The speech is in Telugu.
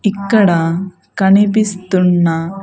ఇక్కడ కనిపిస్తున్న.